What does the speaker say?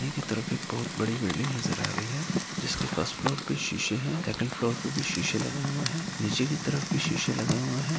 की तरफ एक बहुत बड़ी बिल्डिंग नजर आ रही है जिसके फर्स्ट फ्लोर पे शीशे है सेकंड फ्लोर पे भी शीशे लगे हुए है नीचे की तरफ--